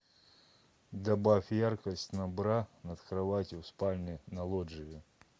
добавь яркость на бра над кроватью в спальне на лоджии